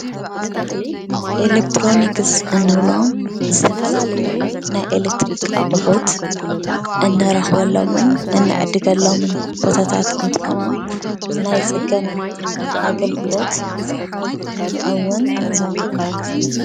ኤሌክትሮኒክስ እንብሎም ዝተፈላለዩ ናይ ኤሌክትሪክ ኣቁሑት እንረኽቦሎምን እንዕድገሎም ቦታት እንትኾኑ ናይ ፅገና ኣገልግሎት እውን ዝህቡ እዮም።